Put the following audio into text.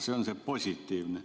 See on positiivne.